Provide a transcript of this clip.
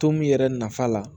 To min yɛrɛ nafa la